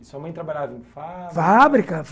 E sua mãe trabalhava em fábrica...? fábrica!